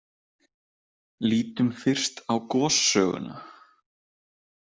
Lítum fyrst á gossöguna.